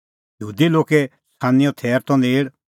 यहूदी लोगे छ़ानींओ थैर त नेल़